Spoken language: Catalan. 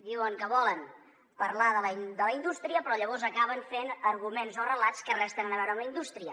diuen que volen parlar de la indústria però llavors acaben fent arguments o relats que res tenen a veure amb la indústria